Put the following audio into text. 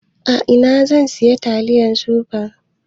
A ina zan iya siyan taliyan supreme?